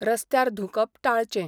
रस्त्यार धूंकप टाळचें.